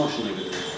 Hansı maşınla getdin?